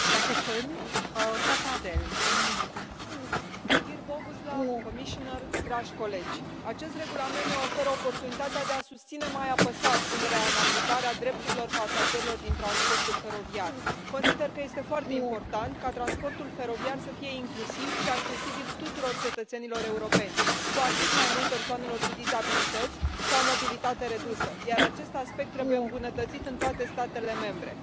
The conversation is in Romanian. Doamna președintă, doamnă comisar, dragi colegi, acest regulament ne oferă oportunitatea de a susține mai apăsat punerea în aplicare a drepturilor pasagerilor din transportul feroviar. Consider că este foarte important ca transportul feroviar să fie incluziv și accesibil tuturor cetățenilor europeni, cu atât mai mult persoanelor cu dizabilități sau mobilitate redusă, iar acest aspect trebuie îmbunătățit în toate statele membre.